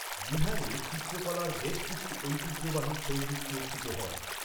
বিহারে চিত্রকলার বেশ কিছু ঐতিহ্যবাহী শৈলী চর্চিত হয়।